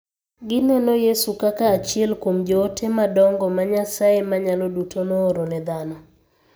Gineno Yesu kaka achiel kuom joote madongo ma Nyasaye Manyalo Duto nooro ne dhano.